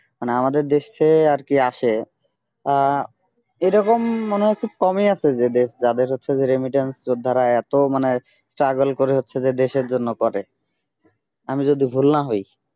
মানে আমাদের দেশে আর কি আসে আহ এরকম মনে হচ্ছে যে খুব কমই আছে যে দেশ যাদের হচ্ছে যে remittance যোদ্ধারা এত মানে struggle করে হচ্ছে যে দেশের জন্য করে আমি যদি ভুল না হই